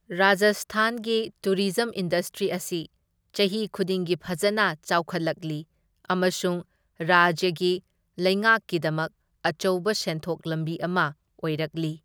ꯔꯥꯖꯁꯊꯥꯟꯒꯤ tourism industry ꯑꯁꯤ ꯆꯍꯤ ꯈꯨꯗꯤꯡꯒꯤ ꯐꯖꯅ ꯆꯥꯎꯈꯠꯂꯛꯂꯤ ꯑꯃꯁꯨꯡ ꯔꯥꯖ꯭ꯌꯒꯤ ꯂꯩꯉꯥꯛꯀꯤꯗꯃꯛ ꯑꯆꯧꯕ ꯁꯦꯟꯊꯣꯛ ꯂꯝꯕꯤ ꯑꯃ ꯑꯣꯏꯔꯛꯂꯤ꯫